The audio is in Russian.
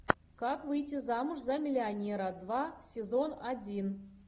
как выйти замуж за миллионера два сезон один